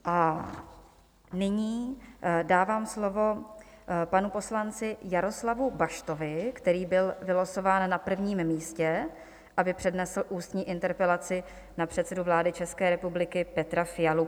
A nyní dávám slovo panu poslanci Jaroslavu Baštovi, který byl vylosován na prvním místě, aby přednesl ústní interpelaci na předsedu vlády České republiky Petra Fialu.